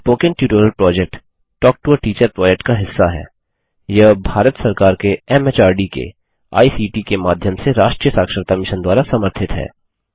spoken tutorial project talk to a teacher project का हिस्सा हैयह भारत सरकार के एमएचआरडी के आईसीटी के माध्यम से राष्ट्रीय साक्षरता मिशन द्वारा समर्थित है